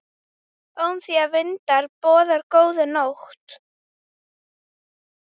Ómþýðir vindar boða góða nótt.